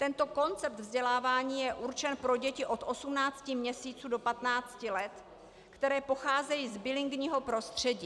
Tento koncept vzdělávání je určen pro děti od 18 měsíců do 15 let, které pocházejí z bilingvního prostředí.